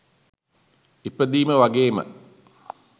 ඉපදීම වගේම